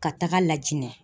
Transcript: Ka taga Lajinɛ